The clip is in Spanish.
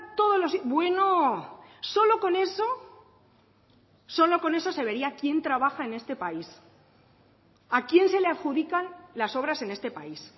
todos los bueno solo con eso solo con eso se vería quién trabaja en este país a quién se le adjudican las obras en este país